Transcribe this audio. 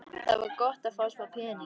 Það var gott að fá smá pening.